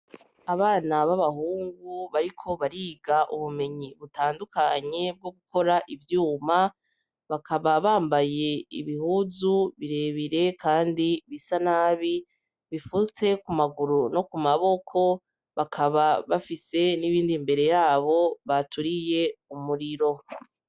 Abana babahungu bariko bariga ubumenyi butandukanye bwo gukora ivyuma, bakaba bambaye ibihuzu birebire Kandi bisa nabi, bifutse kumaguru no kumaboko bakaba bafise n’ibind’imbere yabo baturiye umuriro.